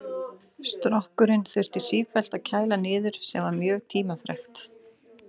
Strokkinn þurfti sífellt að kæla niður sem var mjög tímafrekt.